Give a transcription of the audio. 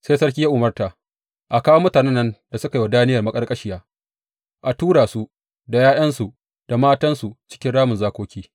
Sai sarki ya umarta, a kawo mutanen nan da suka yi wa Daniyel maƙarƙashiya, a tura su, da ’ya’yansu, da matansu cikin ramin zakoki.